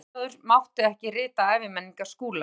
Framsóknarmaður mátti ekki rita æviminningar Skúla.